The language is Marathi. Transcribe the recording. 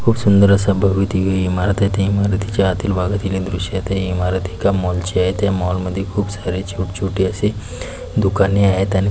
खूप सुंदर अस भव्य दिव्य इमारत आहे त्या इमारतीच्या आतील भागातील हे दृश्य आहे ते इमारत एका मॉल ची आहे त्या मॉल मध्ये खूप सारे छोट छोटे असे दुकाने आहेत आणि --